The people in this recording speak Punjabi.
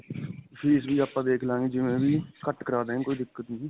ਫੀਸ ਵੀ ਆਪਾਂ ਦੇਖ ਲਾਂਗੇ ਜਿਵੇਂ ਵੀ ਘੱਟ ਕਰਾਂ ਦਾਂਗੇ ਕੋਈ ਦਿੱਕਤ ਨਹੀ ਜੀ.